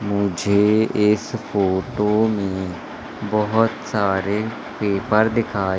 मुझे इस फोटो में बहोत सारे पेपर दिखाई--